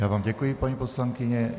Já vám děkuji, paní poslankyně.